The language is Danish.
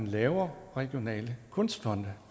lave regionale kunstfonde